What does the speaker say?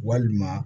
Walima